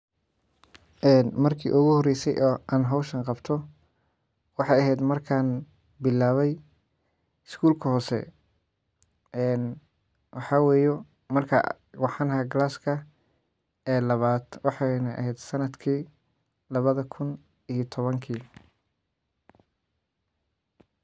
Marka uguhoreyse aan howshan qabto waxey aheed markaan bilaabe iskulka hoose waxaa weye markan waxaan ahaa classka labad weyna eheed sanadka lawo iyo tawank.